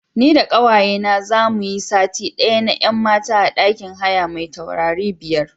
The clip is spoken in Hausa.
Ni da ƙawayena za mu yi sati ɗaya na 'yan mata a ɗakin haya mai taurari biyar.